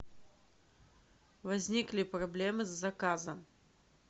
возникли проблемы с заказом